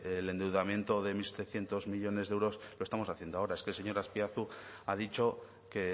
el endeudamiento de mil setecientos millónes de euros lo estamos haciendo ahora es que el señor azpiazu ha dicho que